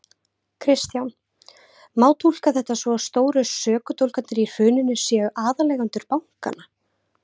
Kristján: Má túlka þetta svo að stóru sökudólgarnir í hruninu séu aðaleigendur bankanna?